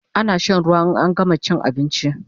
Ana shan ruwa in an gama chin abinchi